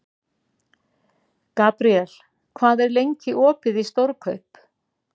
Gabriel, hvað er lengi opið í Stórkaup?